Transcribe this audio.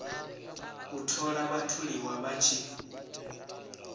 u ṱoḓa vhatholiwa vha tshi